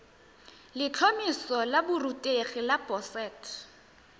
letlhomeso la borutegi la boset